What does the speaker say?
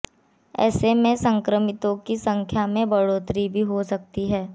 ऐसे में संक्रमितों की संख्या में बढ़ोतरी भी हो सकती है